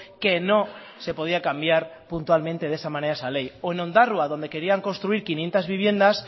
que no se podía cambiar puntualmente de esa manera esa ley o en ondarroa donde querían construir quinientos viviendas